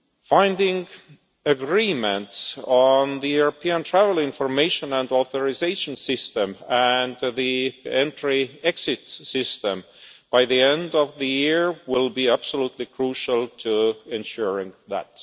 Finding agreement on the European Travel Information and Authorisation System and the Entry-Exit System by the end of the year will be absolutely crucial to ensuring